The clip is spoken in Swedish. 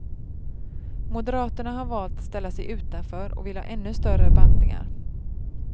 Moderaterna har valt att ställa sig utanför och vill ha ännu större bantningar.